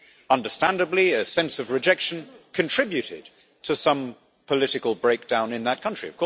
Understandably, a sense of rejection contributed to some political breakdown in that country.